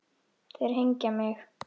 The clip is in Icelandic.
Þeir hengja mig?